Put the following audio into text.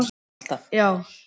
Skarðshlíð